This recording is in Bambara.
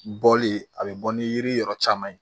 Bɔli a bɛ bɔ ni yiri yɔrɔ caman ye